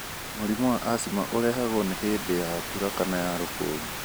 Mũrimũ wa asthma ũrehagwo nĩ hĩndĩ ya mbura kana ya rũkũngũ.